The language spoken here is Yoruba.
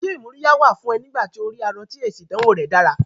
Ṣé ìmúríyá wà fún ẹ̀ nígbà tí o rí arọ tó èsì ìdánwò rẹ̀ dára?